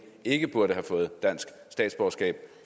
ikke burde have fået dansk statsborgerskab